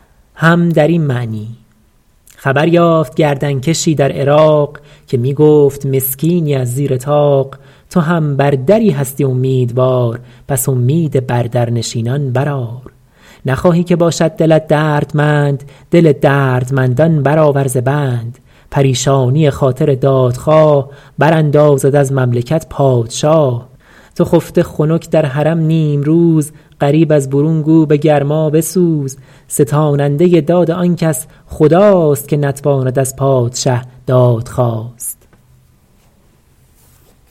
خبر یافت گردن کشی در عراق که می گفت مسکینی از زیر طاق تو هم بر دری هستی امیدوار پس امید بر در نشینان برآر نخواهی که باشد دلت دردمند دل دردمندان برآور ز بند پریشانی خاطر دادخواه براندازد از مملکت پادشاه تو خفته خنک در حرم نیمروز غریب از برون گو به گرما بسوز ستاننده داد آن کس خداست که نتواند از پادشه دادخواست